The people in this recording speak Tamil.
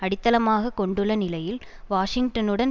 அடித்தளமாக கொண்டுள்ள நிலையில் வாஷிங்டனுடன்